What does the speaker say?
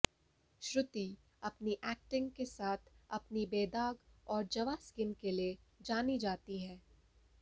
श्रुति अपनी एक्टिंग के साथ अपनी बेदाग और जवां स्किन के लिए जानी जाती हैं